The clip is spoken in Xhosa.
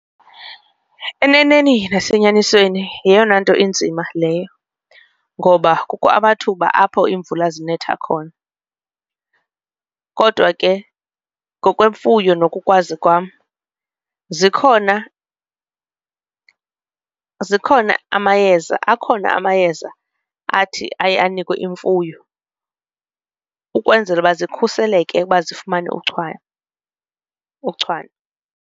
Eneneni nasenyanisweni yeyona nto inzima leyo ngoba kukho amathuba apho iimvula zinetha khona, kodwa ke ngokwemfuyo nokukwazi kwam zikhona, zikhona amayeza akhona amayeza athi aye anikwe imfuyo ukwenzela ukuba zikhuseleke ukuba zifumane uchwane uchwane.